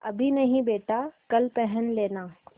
अभी नहीं बेटा कल पहन लेना